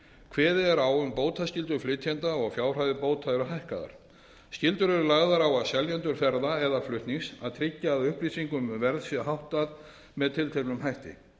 kveðið er á um bótaskyldu flytjenda og fjárhæðir bóta eru hækkaðar skyldur eru lagðar á seljendur ferða eða flutnings að tryggja að upplýsingum um verð sé háttað með tilteknum hætti